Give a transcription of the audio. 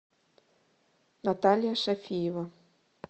наталья шафиева